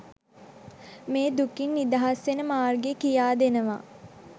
මේ දුකින් නිදහස් වෙන මාර්ගය කියා දෙනවා.